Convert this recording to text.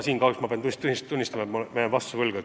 Kahjuks pean tunnistama, et ma jään vastuse võlgu.